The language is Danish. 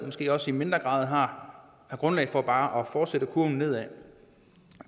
måske også i mindre grad har grundlag for bare at fortsætte kurven nedad